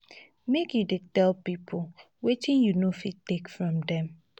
make you dey tell pipo wetin you no fit take from dem.